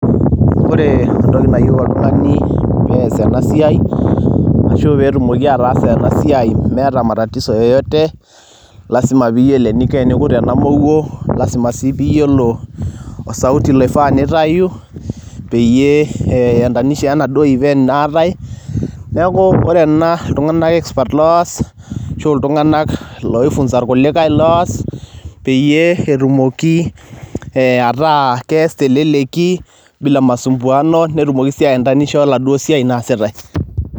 ore entoki nayieu oltung'ani pees ena siai ashu petumoki ataasa ena siai meeta matatizo yeyote lasima piyiolo eninko tenikut ena mowuo lasima sii piyiolo osauti loifaa nitayu peyie iendanisha wenaduo event natae neeku ore ena iltung'anak expert nloos ashu iltung'anak loifunza irkulikae loos peyie etumoki ataa kees teleleki bila masumbuano netumoki sii aendanisha oladuo siai nasitae.